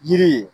Yiri ye